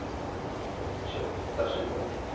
ਚਲੋ ਸਤਿ ਸ੍ਰੀ ਅਕਾਲ ਜੀ।